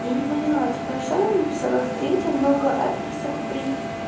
я не поняла типа сама написала в третьем много описок при